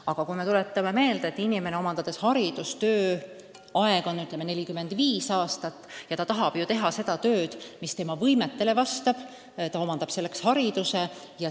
Aga kui me mõtleme, et inimese tööaeg on, ütleme, 45 aastat ja ta tahab ju teha tööd, mis tema võimetele vastab, siis ta omandab selleks hariduse.